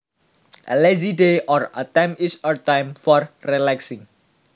A lazy day or time is a time for relaxing